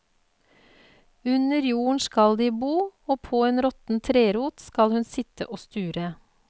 Under jorden skal de bo, og på en råtten trerot skal hun sitte og sture.